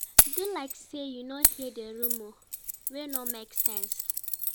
Do like say you no hear di rumor wey no make sense